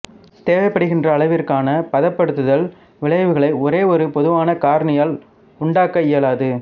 தேவைப்படுகின்ற அளவிற்கான பதப்படுத்துதல் விளைவுகளை ஒரே ஒரு பொதுவான காரணியால் உண்டாக்க இயலாது